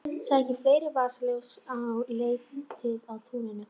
Sækið fleiri vasaljós og leitið á túninu